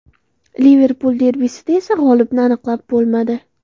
Liverpul derbisida esa g‘olibni aniqlab bo‘lmadi.